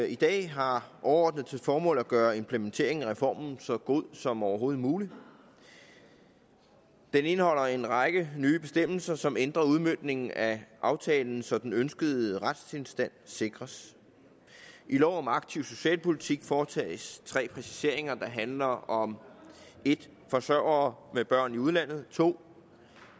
i dag har overordnet til formål at gøre implementeringen af reformen så god som overhovedet muligt den indeholder en række nye bestemmelser som ændrer udmøntningen af aftalen så den ønskede retstilstand sikres i lov om aktiv socialpolitik foretages tre præciseringer der handler om 1 forsørgere med børn i udlandet 2